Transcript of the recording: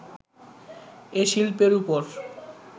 এ শিল্পের ওপর